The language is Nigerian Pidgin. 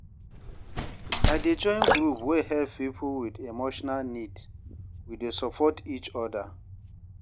I dey join group wey help people with emotional needs, we dey support each other.